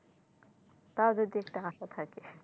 তাও যদি একটা আশা থাকে,